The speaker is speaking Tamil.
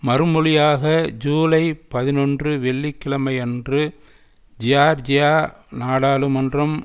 மறுமொழியாக ஜூலை பதினொன்று வெள்ளி கிழமையன்று ஜியார்ஜியா நாடாளுமன்றம்